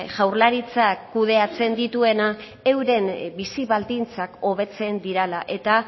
jaurlaritzak kudeatzen dituenak euren bizi baldintzak hobetzen direla eta